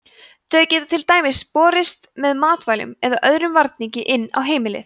þau geta til dæmis borist með matvælum eða öðrum varningi inn á heimilið